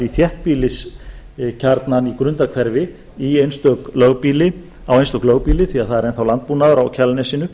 í þéttbýliskjarnann í grundarhverfi á einstök lögbýli því að það er enn þá landbúnaður á kjalarnesinu